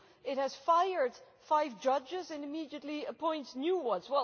It has fired five judges and immediately appointed new ones.